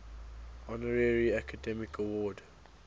honorary academy award